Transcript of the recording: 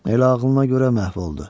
Elə ağılına görə məhv oldu.